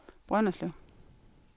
Brønderslev